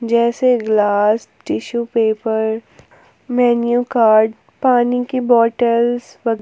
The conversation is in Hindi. जैसे glass tissue paper menu card पानी की बॉटल्स वग --